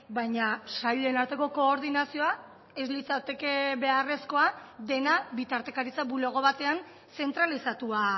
baina sailen arteko koordinazioa ez litzateke beharrezkoa dena bitartekaritza bulego batean zentralizatua